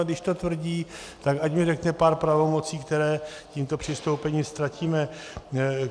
A když to tvrdí, tak ať mi řekne pár pravomocí, které tímto přistoupením ztratíme.